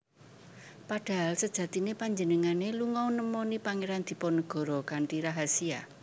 Padahal sejatiné panjenengané lunga nemoni Pangeran Diponegoro kanthi rahasia